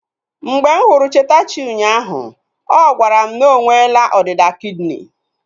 Mgbe m hụrụ Chetachi unyaahu, ọ gwara m na nwela ọdịda kidini